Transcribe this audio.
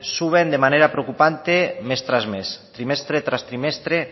suben de manera preocupante mes tras mes trimestre tras trimestre